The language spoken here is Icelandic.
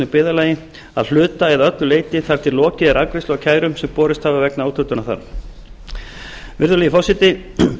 byggðarlagi að hluta eða öllu leyti þar til lokið er afgreiðslu á kærum sem borist hafa vegna úthlutunar þar virðulegi forseti